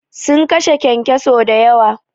Sun kashe kyankyaso da yawa.